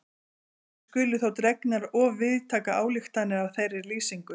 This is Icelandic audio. Ekki skulu þó dregnar of víðtækar ályktanir af þeirri lýsingu.